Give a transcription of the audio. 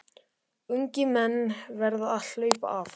Ungir menn verða að HLAUPA AF